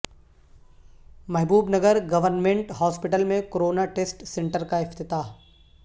محبوب Nagar government hospital میں corona test centre کا افتتاح